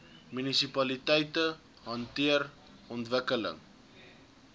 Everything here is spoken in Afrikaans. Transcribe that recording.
munisipaliteite hanteer ontwikkeling